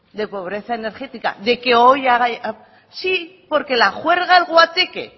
de pobreza energética de que hoy haga sí porque el guateque